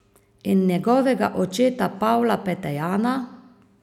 In njihovega očeta Pavla Petejana?